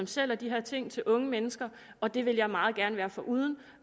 sælger de her ting til unge mennesker og det ville jeg meget gerne være foruden